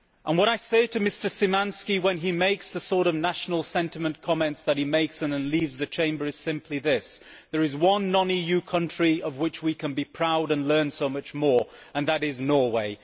What I say to Mr Szymański when he makes the sort of national sentiment comments that he makes and then leaves the Chamber is simply this there is one non EU country of which we can be proud and from which we can learn so much more, and that is Norway.